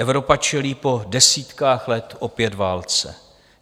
Evropa čelí po desítkách let opět válce.